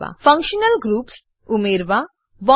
functional groups functional groups ઉમેરવા